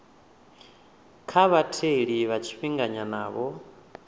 kha vhatheli vha tshifhinganyana vho